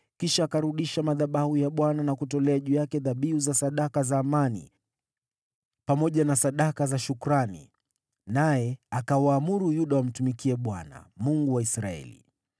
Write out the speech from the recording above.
Kisha akarudisha madhabahu ya Bwana na kutolea juu yake dhabihu za sadaka za amani pamoja na sadaka za shukrani, naye akawaamuru Yuda wamtumikie Bwana , Mungu wa Israeli.